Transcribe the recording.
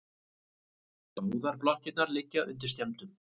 Báðar blokkirnar liggja undir skemmdum